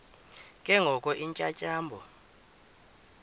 ke ngoko iintyatyambo